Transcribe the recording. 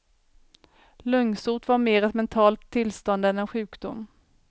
Lungsot var mer ett mentalt tillstånd än en sjukdom.